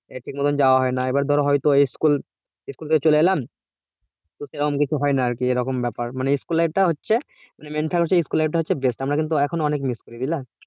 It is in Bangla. আহ ঠিকমতো যাওয়া হয়না এবার ধর school থেকে চলে এলাম এরকম কিছু হয়না আর কি এরকম ব্যাপার school life এর টা হচ্ছে school life এরা হচ্ছে best আমরা কিন্তু এখনো হচ্ছে অনেক miss করি